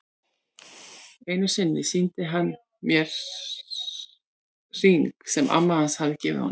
Einu sinni sýndi hann mér hring sem amma hans hafði gefið honum.